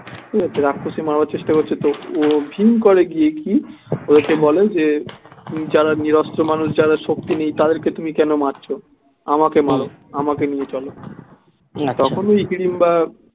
রাক্ষুসী মারবার চেষ্টা করছে তো ও ভীম করে গিয়ে কি ওকে বলে যে যারা নিরস্ত্র মানুষ যারা শক্তি নেই তাদের কে তুমি কেন মারছো আমাকে মারো আমাকে নিয়ে চলো তখনই হিড়িম্বা